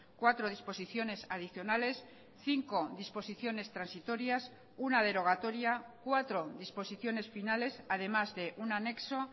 cuatro disposiciones adicionales cinco disposiciones transitorias una derogatoria cuatro disposiciones finales además de un anexo